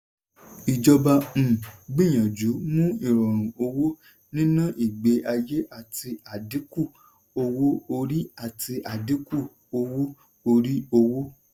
ìjọba um gbìyànjú mú ìrọ̀rùn owó-níná ìgbé-ayé àti àdínkù owó-orí àti àdínkù owó-orí òwò.